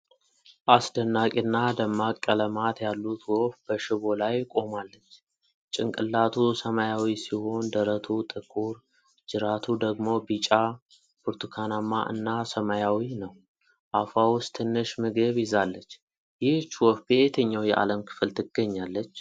አስደናቂ እና ደማቅ ቀለማት ያሉት ወፍ በሽቦ ላይ ቆማለች። ጭንቅላቱ ሰማያዊ ሲሆን፣ ደረቱ ጥቁር፣ ጅራቱ ደግሞ ቢጫ፣ ብርቱካናማ እና ሰማያዊ ነው። አፏ ውስጥ ትንሽ ምግብ ይዛለች። ይህች ወፍ በየትኛው የዓለም ክፍል ትገኛለች?